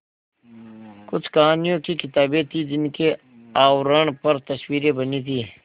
कुछ कहानियों की किताबें थीं जिनके आवरण पर तस्वीरें बनी थीं